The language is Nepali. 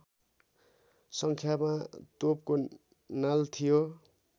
सङ्ख्यामा तोपको नाल थियो